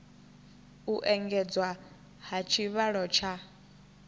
u engedzwa ha tshivhalo tsha